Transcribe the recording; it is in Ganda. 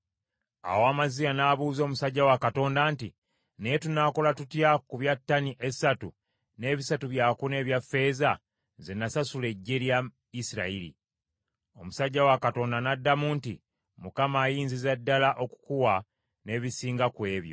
Awo Amaziya n’abuuza omusajja wa Katonda nti, “Naye tunaakola tutya ku bya ttani esatu n’ebisatu byakuna ebya ffeeza ze nasasula eggye lya Isirayiri?” Omusajja wa Katonda n’addamu nti, “ Mukama ayinziza ddala okukuwa n’ebisinga ku ebyo.”